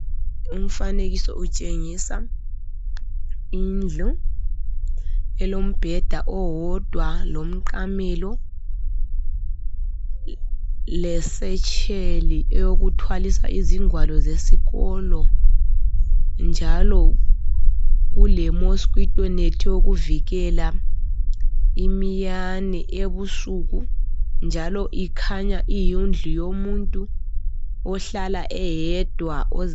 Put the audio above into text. Umfanekiso untshengisa indlu elombeda owodwa lomqsmelo lesetsheli yokuthwalisa izingwalo zesikolo njalo kule mosikito nethi eyokuvikela iminyane ebusuku njalo kukhanya kuyindlu yomuntu ohlala eyedwa